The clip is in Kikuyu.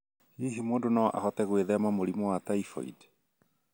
Hihi mũndũ no ahote gwĩthema mũrimũ wa typhoid?